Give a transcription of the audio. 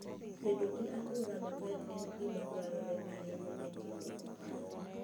Bedo gi alwora maber en gima dwarore ahinya e timo ohala.